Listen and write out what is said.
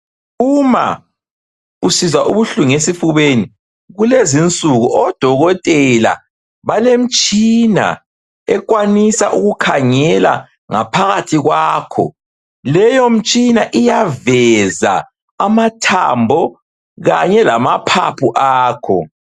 Uma usizwa ubuhlungu esifubeni kulezi insuku odokotela balemtshina ekwanisa ukukhangela ngaphakathi kwakho, Leyo mtshina iyaveza amathambo Kanye lamaphapho akho